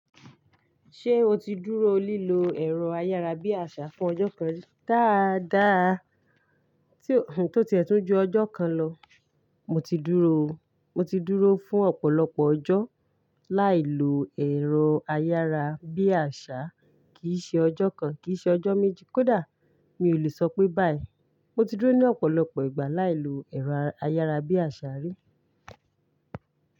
Ṣé o ti dúró lílo ẹ̀rọ ayárabíàṣá fún ọjọ́ kan ri dáadáa tí ó ti ẹ̀ tún ju ọjọ́ kan lọ? Mo ti dúró, mo ti dúró fún ọ̀pọ̀lọpọ̀ ọjọ́ láìlo ẹ̀rọ ayárabíàṣá, kì í ṣe ọjọ́ kan, kì í ṣe ọjọ́ méjì kó dà. Mi ò lè sọ pé báyìí. Mo ti dúró ní ọ̀pọ̀lọpọ̀ ìgbà láìlo ẹ̀rọ ayárabíàṣá rí.